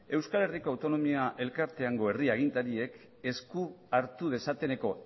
euskal herriko autonomia elkarteko herri agintariek esku hartu dezateneko